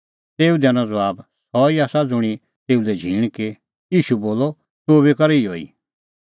तेऊ दैनअ ज़बाब सह ई आसा ज़ुंणी तेऊ लै झींण की ईशू बोलअ तूह बी कर इहअ ई